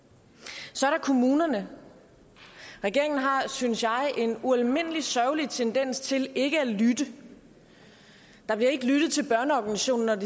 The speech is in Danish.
så er der kommunerne regeringen har synes jeg en ualmindelig sørgelig tendens til ikke at lytte der bliver ikke lyttet til børneorganisationerne